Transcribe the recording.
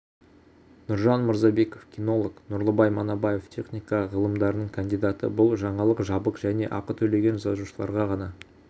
нұржан мырзабеков кинолог нұрлыбай манабаев техника ғылымдарының кандидаты бұл жаңалық жабық және ақы төлеген жазылушыларға ғана